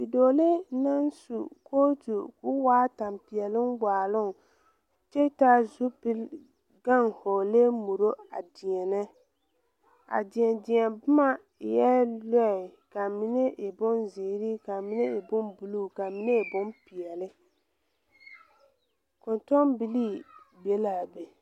Bidoolee naŋ su kootu ko waa tampeɛloŋ waaloŋ kyɛ taa zupil gaŋ hɔglɛɛ muro a deɛnɛ a deɛ deɛ bomma eɛɛ lɔɛ ka mine e bonzeere ka mine e bonbluu ka mine e bonpeɛɛle kɔntoŋbilii be laa be.